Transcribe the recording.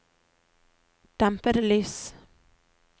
dempede lys